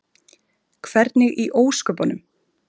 Hvernig í ósköpunum?